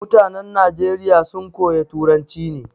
Mutanan Nageriya sun koya turanci ne